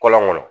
Kɔlɔn kɔnɔ